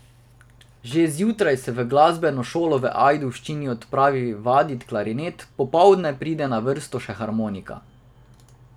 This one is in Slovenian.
Že zjutraj se v glasbeno šolo v Ajdovščino odpravi vadit klarinet, popoldne pride na vrsto še harmonika.